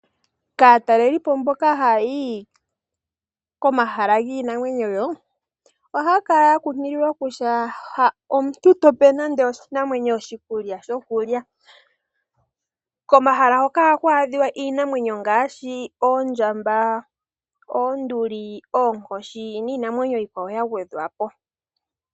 Kaatalelipo mboka haya yi komahala giinamwenyo, ohaya kala ya kunkililwa kutya ha omuntu tape nande iinamwenyo oshikulya shokulya. Komahala hoka ohaku adhika iinamwenyo ngaashi oondjamba, oonduli, oonkoshi niinamwenyo iikwawo ya gwedhwapo.